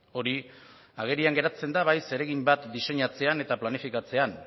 hori agerian geratzen da bai zeregin bat diseinatzean eta planifikatzean